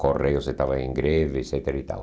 Correios estavam em greve, et cetera e tal.